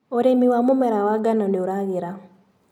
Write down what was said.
ũrĩmi wa mũmera wa ngano nĩũragĩra.